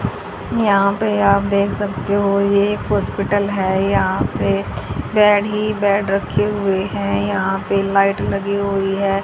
यहां पे आप देख सकते हो ये एक हॉस्पिटल है यहां पे बेड ही बेड रखे हुए हैं यहां पे लाइट लगी हुई है।